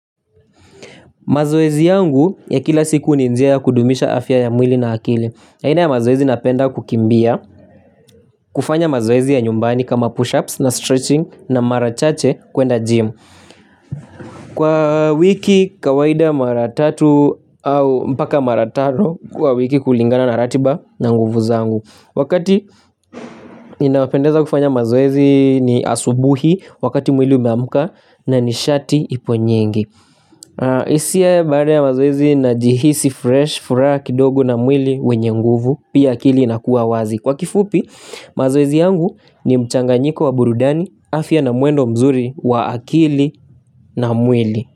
Mazoezi yangu ya kila siku ni njia ya kudumisha afya ya mwili na akili. Aina ya mazoezi, napenda kukimbia, kufanya mazoezi ya nyumbani kama push-ups na stretching na marachache kwenda gym. Kwa wiki kawaida mara tatu au mpaka mara tano kwa wiki kulingana na ratiba na nguvu zangu. Wakati inapendeza kufanya mazoezi ni asubuhi wakati mwili umeamka na nishati ipo nyingi. Hisia baada ya mazoezi, najihisi fresh, furaha kidogu na mwili wenye nguvu, pia akili inakuwa wazi. Kwa kifupi mazoezi yangu ni mchanganyiko wa burudani, afya na mwendo mzuri wa akili na mwili.